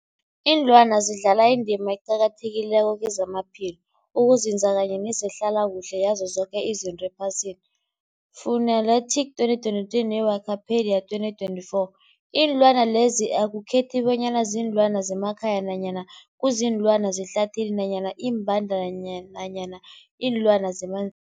Iinlwana zidlala indima eqakathekileko kezamaphilo, ukunzinza kanye nezehlala kuhle yazo zoke izinto ephasini, Fuanalytics 2023, ne-Wikipedia 2024. Iinlwana lezi akukhethi bonyana ziinlwana zemakhaya nanyana kuziinlwana zehlathini nanyana iimbandana nanyana iinlwana zemanzini.